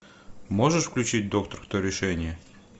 можешь включить доктор кто решение